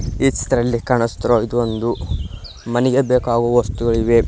ಈ ಚಿತ್ರದಲ್ಲಿ ಕಾಣಿಸುತ್ತಿರುವ ಇದು ಒಂದು ಮನೆಗೆ ಬೇಕಾಗುವ ವಸ್ತುಗಳಿವೆ.